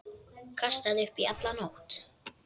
Kastaði upp í alla nótt.